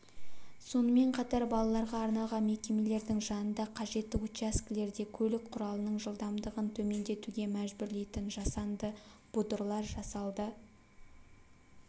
сонымен қатар балаларға арналған мекемелердің жанында қажетті учаскелерде көлік құралының жылдамдығын төмендетуге мәжбүрлейтін жасанды бұдырлар жасалды